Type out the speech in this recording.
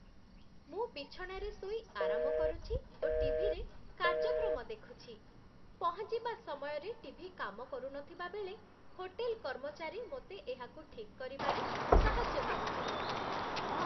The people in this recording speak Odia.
ମୁଁ ବିଛଣାରେ ଶୋଇ ଆରାମ କରୁଛି ଓ ଟି.ଭି.ରେ କାର୍ଯ୍ୟକ୍ରମ ଦେଖୁଛି ପହଞ୍ଚିବା ସମୟରେ ଟି.ଭି. କାମ କରୁନଥିବା ବେଳେ ହୋଟେଲ୍ କର୍ମଚାରୀ ମୋତେ ଏହାକୁ ଠିକ୍ କରିବାରେ ସାହାଯ୍ୟ କରିଥିଲେ।